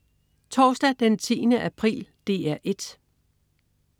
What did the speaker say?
Torsdag den 10. april - DR 1: